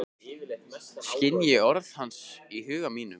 Skynji orð hans í huga mínum.